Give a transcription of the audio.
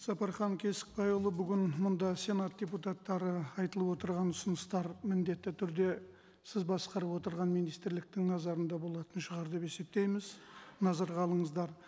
сапархан кесікбайұлы бігін мұнда сенат депутаттары айтылып отырған ұсыныстар міндетті түрде сіз басқарып отырған министрліктің назарында болатын шығар деп есептейміз назарға алыңыздыр